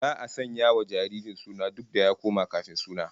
Za'a sanya wa jaririn suna duk da ya koma kafin suna